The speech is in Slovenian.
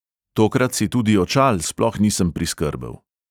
Tokrat si tudi očal sploh nisem priskrbel.